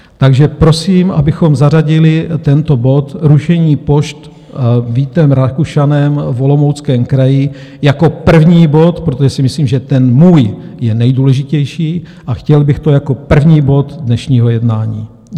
Takže prosím, abychom zařadili tento bod rušení pošt Vítem Rakušanem v Olomouckém kraji jako první bod, protože si myslím, že ten můj je nejdůležitější, a chtěl bych to jako první bod dnešního jednání.